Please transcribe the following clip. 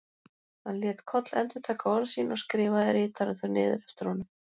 Hann lét Koll endurtaka orð sín og skrifaði ritarinn þau niður eftir honum.